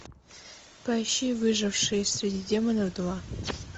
поищи выжившие среди демонов два